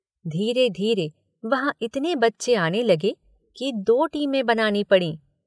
धीरे- धीरे वहाँ इतने बच्चे आने लगे कि दो टीमें बनानी पड़ीं।